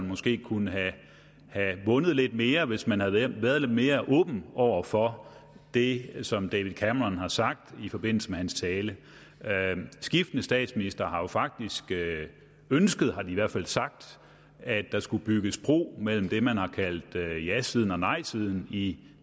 måske kunne have vundet lidt mere hvis man havde været været lidt mere åben over for det som david cameron har sagt i forbindelse med sin tale skiftende statsministre har jo faktisk ønsket det har de i hvert fald sagt at der skulle bygges bro mellem det man har kaldt jasiden og nejsiden i